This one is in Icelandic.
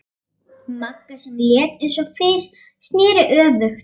Magga, sem var létt eins og fis, sneri öfugt.